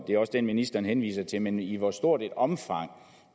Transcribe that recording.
det er også den ministeren henviser til men i hvor stort et omfang